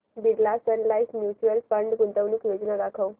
Birla Sun Life mutual fund गुंतवणूक योजना दाखव